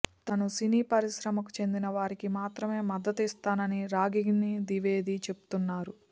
తాను సినీ పరిశ్రమకు చెందిన వారికి మాత్రమే మద్దతిస్తానని రాగిగిని ద్వివేది చెబుతున్నారు